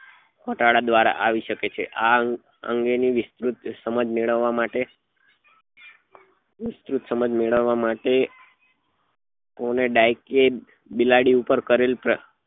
ઘટાડા દ્વારા આવી શકે છે આ અંગે ની વિસૃત સમજ મેળવવા માટે વિસ્તૃત સમજ મેળવવા માટે તમે ગાય કે બિલાડી પર કરેલ